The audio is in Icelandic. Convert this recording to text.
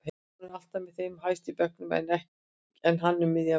Hún er alltaf með þeim hæstu í bekknum en hann um miðjan bekk.